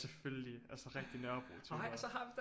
Selvfølgelig altså rigtig Nørrebrotyper